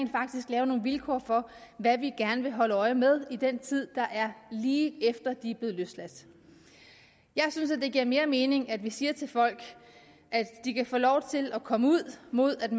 lave nogle vilkår for hvad vi gerne vil holde øje med i den tid der er lige efter løsladelsen jeg synes det giver mere mening at vi siger til folk at de kan få lov til at komme ud mod at